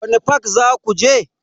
Wani fak zaku je?